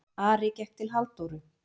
Ari gekk til Halldóru.